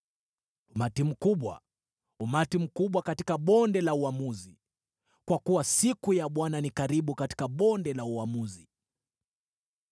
Umati mkubwa, umati mkubwa katika bonde la uamuzi! Kwa kuwa siku ya Bwana ni karibu katika bonde la uamuzi.